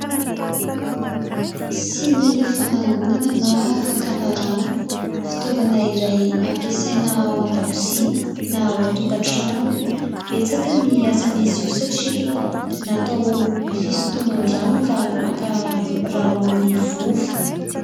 Siny fanangonana na fakana rano, fitaovana iray ampiasaina ao an-dakozia na ao an-tokantrano. Betsaka ny asan'izy io satria natao fisintoman-drano raha maka rano amin'ny vovo.